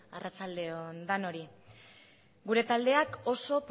arratsalde on denoi gure taldeak oso